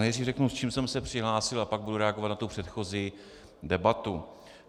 Nejdřív řeknu, s čím jsem se přihlásil, a pak budu reagovat na tu předchozí debatu.